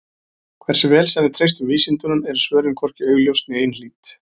Hversu vel sem við treystum vísindunum eru svörin hvorki augljós né einhlít.